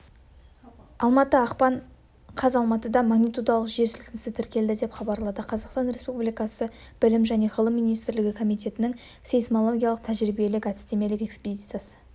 алматы ақпан қаз алматыда магнитудалық жер сілкінісі тіркелді деп хабарлады қазақстан республикасы білім және ғылым министрлігі комитетінің сейсмологиялық тәжірибелік әдістемелік экспедициясы